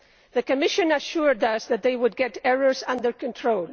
The Commission assured us that they would get errors under control.